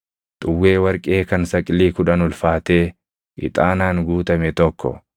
xuwwee warqee kan saqilii kudhan ulfaatee ixaanaan guutame tokko,